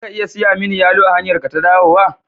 Za ka iya siya mini yalo a hanyarka ta dawowa?